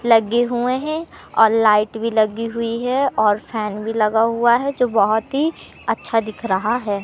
लगे हुए हैं और लाइट भी लगी हुई है और फैन भी लगा हुआ है जो बहोत ही अच्छा दिख रहा है।